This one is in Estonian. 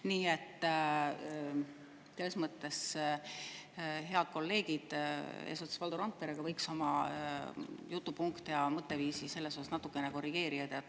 Nii et selles mõttes head kolleegid eesotsas Valdo Randperega võiks oma jutupunkte ja mõtteviisi natuke korrigeerida.